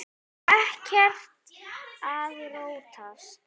Og ekkert að róast?